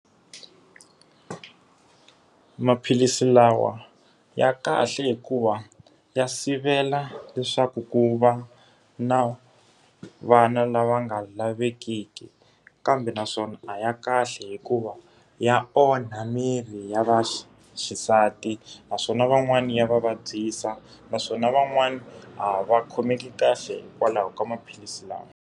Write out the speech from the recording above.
Maphilisi lawa ya kahle hikuva ya sivela leswaku ku va na vana lava nga lavekeki. Kambe naswona a ya kahle hikuva ya onha miri ya va xisati, naswona van'wani ya va vabyisa, naswona van'wani a va khomeki kahle hikwalaho ka maphilisi lawa.